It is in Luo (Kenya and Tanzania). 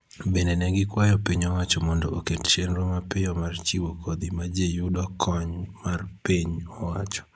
Bende ne gikwayo piny owacho mondo oket chenro mapiyo mar chiwo kodhi ma ji yudo kony mar piny owacho